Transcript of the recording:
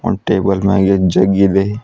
ಒಂದ್ ಟೇಬಲ್ ಮ್ಯಾಗೆ ಜಗ್ ಇದೆ.